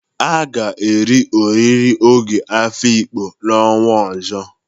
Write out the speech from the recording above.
A ga-eri oriri ogo Afikpo n'ọnwa ọzọ.